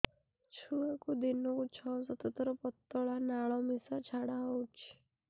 ଛୁଆକୁ ଦିନକୁ ଛଅ ସାତ ଥର ପତଳା ନାଳ ମିଶା ଝାଡ଼ା ହଉଚି